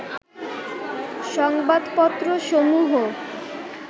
সংবাদপত্রসমূহ